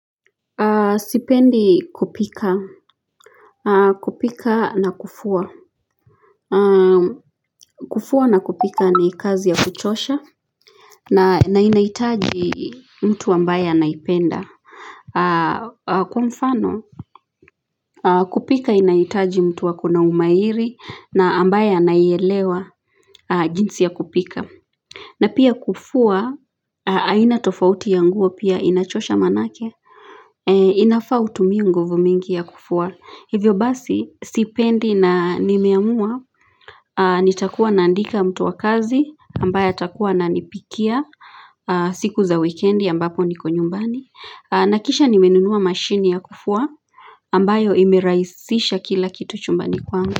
Sipendi kupika. Kupika na kufua. Kufua na kupika ni kazi ya kuchosha. Na inahitaji mtu ambaye anaipenda. Kwa mfano, kupika inahitaji mtu akona na umahiri. Na ambaye anaielewa jinsi ya kupika. Na pia kufua, aina tofauti ya nguo pia inachosha manake. Inafaa utumie nguvu mingi ya kufua. Hivyo basi, sipendi na nimeamua, nitakuwa naandika mtu wa kazi, ambaye atakuwa na ananipikia siku za weekendi ambapo niko nyumbani. Nakisha nimenunua mashini ya kufua, ambayo imeraisisha kila kitu chumbani kwangu.